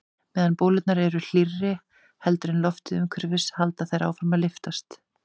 Meðan bólurnar eru hlýrri heldur en loftið umhverfis halda þær áfram að lyftast.